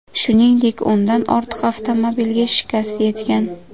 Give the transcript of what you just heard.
Shuningdek, o‘ndan ortiq avtomobilga shikast yetgan.